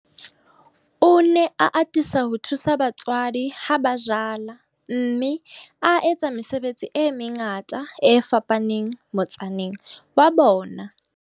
O ne a atisa ho thusa batswadi ha ba jala, mme a etsa mesebetsi e mengata e fapaneng motsaneng wa bona.